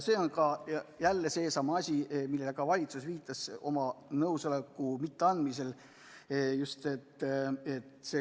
See on jälle seesama asi, millele ka valitsus viitas, kui ta oma nõusolekut ei andnud.